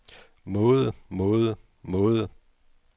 måde måde måde